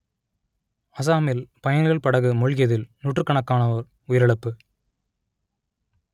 அசாமில் பயணிகள் படகு மூழ்கியதில் நூற்றுக்கணக்கானோர் உயிரிழப்பு